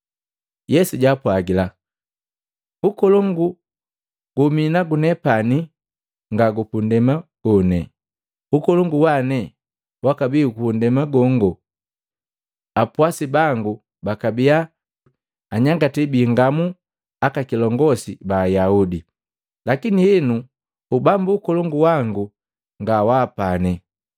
Yesu jaapwagila, “Ukolongu wa minepani nga gundema gone. Ukolongu wane wakabii gupundema gongo apwasi bangu bakabia anyangati biingamu aka kilongosi ba Ayaudi. Lakini henu Ubambu Ukolongu wangu nga waapane.”